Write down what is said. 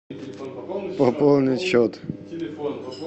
пополнить счет